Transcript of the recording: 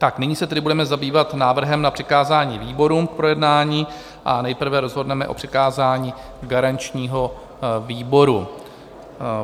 Tak nyní se tedy budeme zabývat návrhem na přikázání výborům k projednání a nejprve rozhodneme o přikázání garančnímu výboru.